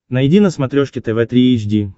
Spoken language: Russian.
найди на смотрешке тв три эйч ди